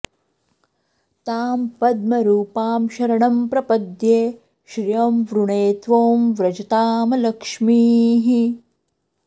तां पद्मरूपां शरणं प्रपद्ये श्रियं वृणे त्वों व्रजतामलक्ष्मीः